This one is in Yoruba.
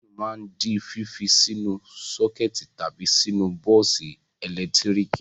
Fáánù máa ń di fífi sínú sọ́kẹ́tì tàbí sínú bọ́ọ́sì ẹ̀lẹ́tíríkì.